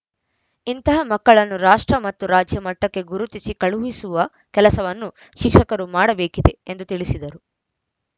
ಇಂತಹ ಮಕ್ಕಳನ್ನು ರಾಷ್ಟ್ರ ಮತ್ತು ರಾಜ್ಯ ಮಟ್ಟಕ್ಕೆ ಗುರುತಿಸಿ ಕಳುಹಿಸುವ ಕೆಲಸವನ್ನು ಶಿಕ್ಷಕರು ಮಾಡಬೇಕಿದೆ ಎಂದು ತಿಳಿಸಿದರು